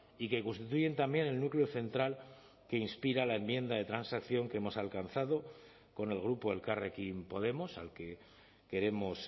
y que constituyen también el núcleo central que inspira la enmienda de transacción que hemos alcanzado con el grupo elkarrekin podemos al que queremos